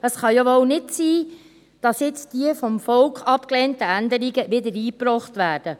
Es kann wohl nicht sein, dass jetzt die vom Volk abgelehnten Änderungen wieder eingebracht werden.